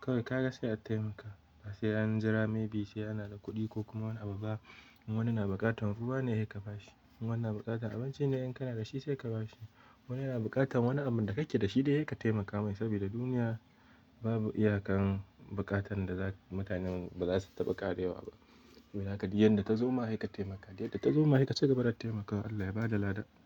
kawai ka ga sai a taimaka. Ba sai an jira maybe sai ana da kuɗi ko kuma wani abu ba. In wani na bukatan ruwa ne, sai ka ba shi. In wani na bukatan abinci ne, in kana da shi sai ka ba shi. Wani yana bukatan wani abun da kake da shi dai sai ka taimaka mai saboda duniya babu iyaka'n bukatan da mutanen bazasu taɓa ƙarewa ba. Don haka yadda ta zo ma sai ka taimaka, yadda ta zo ma sai ka ci gaba da taimakawa. Allah ya bada lada.